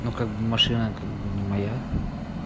ну как машина как бы не моя